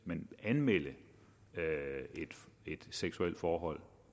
men anmelde et seksuelt forhold